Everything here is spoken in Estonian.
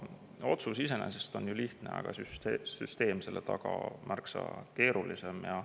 Otsus iseenesest on ju lihtne, aga süsteem selle taga on märksa keerulisem.